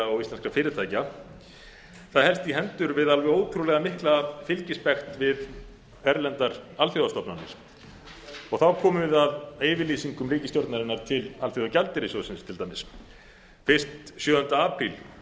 og íslenskra fyrirtækja helst í hendur við alveg ótrúlega mikla fylgispekt við erlendar alþjóðastofnanir þá komum við að yfirlýsingum ríkisstjórnarinnar til alþjóðagjaldeyrissjóðsins til dæmis fyrst sjöunda apríl